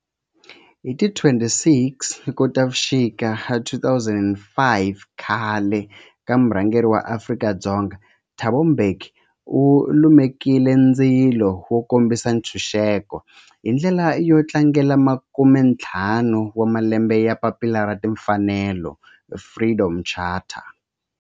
Hi ti 26 Khotavuxika 2005 khale ka murhangeri wa Afrika-Dzonga Thabo Mbeki u lumekile ndzilo wo kombisa ntshuxeko, hi ndlela yo tlangela makumentlhanu wa malembe ya papila ra timfanelo, Freedom Charter.